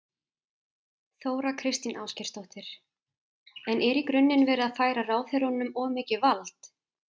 Þóra Kristín Ásgeirsdóttir: En er í grunninn verið að færa ráðherranum of mikið vald?